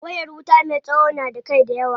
Wayar wuta me tsawo na da kai dayawa.